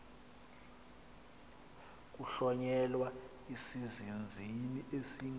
kuhlonyelwa isizinzisi esingu